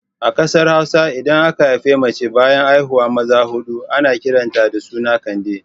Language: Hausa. A ƙasar Hausa idan aka haifi mace bayan haihuwar maza huɗu ana kiran ta da suna Kande